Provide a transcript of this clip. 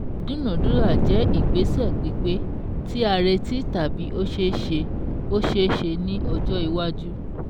Ìdúnadúrà jẹ́ ìgbésẹ̀ pípé, tí a retí tàbí ó ṣeé ṣe ó ṣeé ṣe ní ọjọ́ iwájú